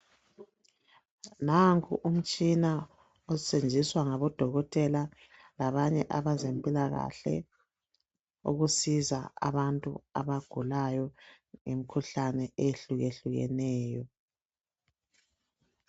Nanku umtshina osetshenziswa ngabodokotela labanye abezempilakahle ukusiza abantu abagulayo ngemikhuhlane eyehlukehlukeneyo .